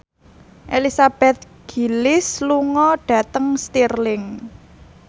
Elizabeth Gillies lunga dhateng Stirling